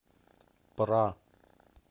пра